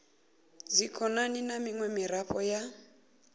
dzikhonani na miṅwe miraḓo ya